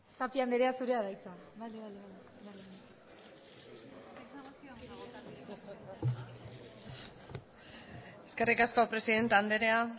tapia andrea zurea da hitza eskerrik asko presidente andrea